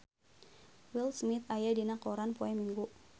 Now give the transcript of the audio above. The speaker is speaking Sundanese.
Will Smith aya dina koran poe Minggon